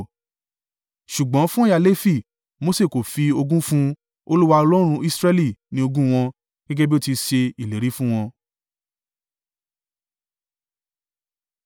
Ṣùgbọ́n fún ẹ̀yà Lefi, Mose kò fi ogún fún un; Olúwa, Ọlọ́run Israẹli, ní ogún wọn, gẹ́gẹ́ bí ó ti ṣe ìlérí fún wọn.